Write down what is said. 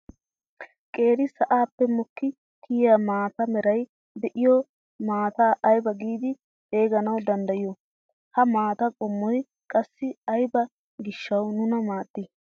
Qeeri sa'aappe mokki kiyaa maata meray de'iyoo maataa aybaa giidi xeeganawu danddayiyoo? ha maataa qoommoy qassi aybaa giishshawu nuna maaddii?